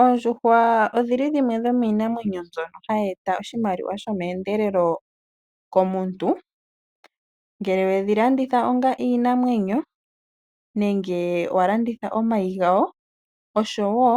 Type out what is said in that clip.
Oondjuhwa odhili dhimwe dhomiinamwenyo mbyono hayi eta oshimaliwa sho meendelelo Komuntu. ngele wedhi landitha onga iinamwenyo , nenge walanditha omayi gayo oshowo